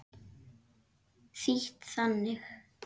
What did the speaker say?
Þýtt þannig